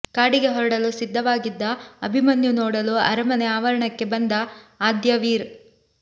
ಕಾಡಿಗೆ ಹೊರಡಲು ಸಿದ್ಧವಾಗಿದ್ದ ಅಭಿಮನ್ಯು ನೋಡಲು ಅರಮನೆ ಆವರಣಕ್ಕೆ ಬಂದ ಆದ್ಯವೀರ್